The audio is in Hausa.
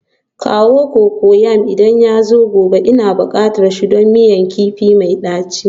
Kawo cocoyam idan yazo gobe, Ina bukatan shi don miyan ganye mai daci